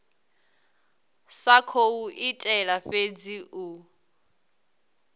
sa khou itela fhedzi u